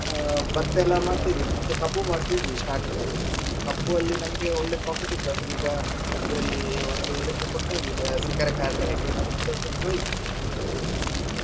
ಆ ಭತ್ತ ಎಲ್ಲಾ ಮಾಡ್ತಿದ್ವಿ ಮುಂಚೆ ಕಬ್ಬು ಮಾಡ್ತಿದ್ವಿ starting ಅಲ್ಲಿ ಕಬ್ಬು ಅಲ್ಲಿ ನಮಗೆ ಒಳ್ಳೆ profit ಇತ್ತು ಅಂದ್ರೆ ಈಗ ಇದ್ರಲ್ಲಿ ಒಂದು ಇದಕ್ಕೆ ಕೊಡ್ತ ಇದ್ವಿ ಸಕ್ಕರೆ ಕಾರ್ಖಾನೆಗೆ ಅದು ಕೂಡ ಮುಗ್ದೊಯ್ತು.